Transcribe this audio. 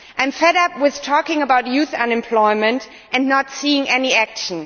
I am fed up with talking about youth unemployment and not seeing any action.